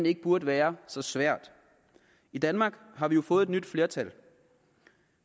ikke burde være så svært i danmark har vi jo fået et nyt flertal